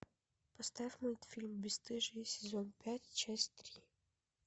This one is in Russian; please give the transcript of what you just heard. поставь мультфильм бесстыжие сезон пять часть три